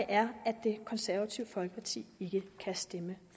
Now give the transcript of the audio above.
er at det konservative folkeparti ikke kan stemme